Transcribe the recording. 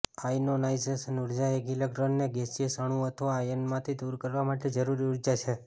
આયનોનાઇઝેશન ઊર્જા એક ઇલેક્ટ્રોનને ગેસિયસ અણુ અથવા આયનમાંથી દૂર કરવા માટે જરૂરી ઊર્જા છે